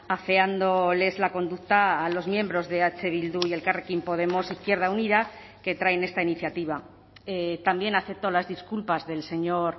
afeándoles la conducta a los miembros de eh bildu y elkarrekin podemos izquierda unida que traen esta iniciativa también acepto las disculpas del señor